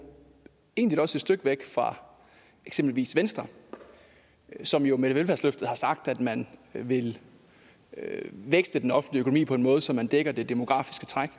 egentlig også stykke væk fra eksempelvis venstre som jo med velfærdsløftet har sagt at man vil vækste den offentlige økonomi på en måde så man dækker det demografiske træk